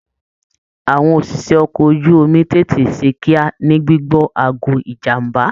Àwọn òṣìṣẹ́ ọkọ̀ ojú omi tètè ṣe kíá ní gbigbọ aago ìjàmbá.